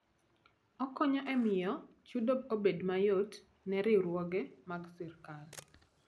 Okonyo e miyo chudo obed mayot ne riwruoge mag sirkal.